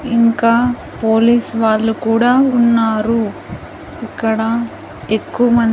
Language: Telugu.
ఇంకా పోలీస్ వాళ్ళు కూడా ఉన్నారు ఇక్కడ ఎక్కువ మన్--